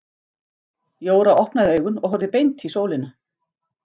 Jóra opnaði augun og horfði beint í sólina.